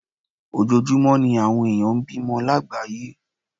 Ojoojúmọ́ ní àwọn ènìyàn ń bímọ lágbàáyé